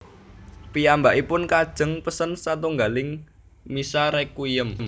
Piyambakipun kajeng pesen satunggiling misa Requiem